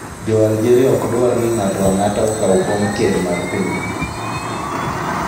Jo Algeriaok dwar ni ng'ato ang'ata okaw kom ker mar pinygi